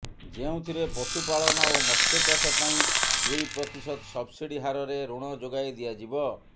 ଯେଉଁଥିରେ ପଶୁ ପାଳନ ଓ ମତ୍ସ୍ୟ ଚାଷ ପାଇଁ ଦୁଇ ପ୍ରତିଶତ ସବ୍ସିଡି ହାରରେ ଋଣ ଯୋଗାଇ ଦିଆଯିବ